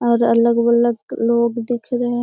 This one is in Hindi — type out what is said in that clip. और अलग-अलग लोग दिख रहे हैं।